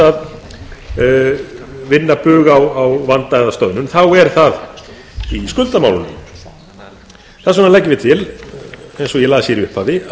að vinna bug á vanda eða stöðnun er það í skuldamálunum þess vegna leggjum við til eins og ég las